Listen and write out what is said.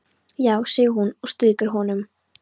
Já, segir hún og strýkur honum.